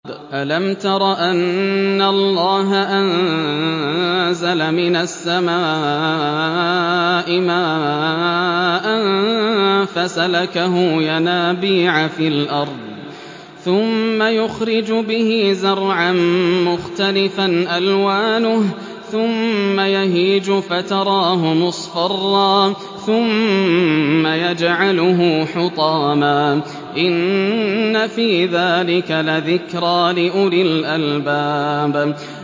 أَلَمْ تَرَ أَنَّ اللَّهَ أَنزَلَ مِنَ السَّمَاءِ مَاءً فَسَلَكَهُ يَنَابِيعَ فِي الْأَرْضِ ثُمَّ يُخْرِجُ بِهِ زَرْعًا مُّخْتَلِفًا أَلْوَانُهُ ثُمَّ يَهِيجُ فَتَرَاهُ مُصْفَرًّا ثُمَّ يَجْعَلُهُ حُطَامًا ۚ إِنَّ فِي ذَٰلِكَ لَذِكْرَىٰ لِأُولِي الْأَلْبَابِ